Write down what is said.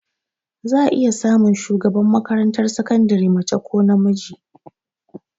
Za a iya samun shugaban makarantar sakandire mace ko namiji